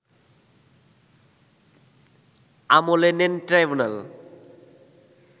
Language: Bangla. আমলে নেন ট্রাইব্যুনাল